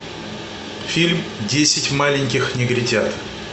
фильм десять маленьких негритят